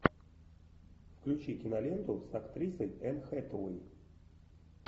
включи киноленту с актрисой энн хэтэуэй